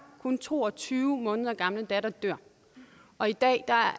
kun to og tyve måneder gamle datter dør og i dag er